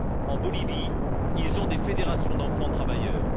En Bolivie, ils ont des fédérations d'enfants travailleurs.